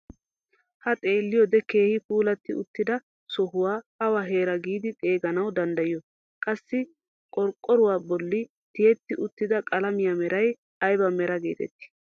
Ha xeeliyoode keehi puulatti uttida sohuwaa awa heeraa giidi xegananwu danddayiyoo? qassi qorqqoruwaa bolli tiyetti uttida qalamiyaa meray ayba meraa getettii?